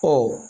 Ɔ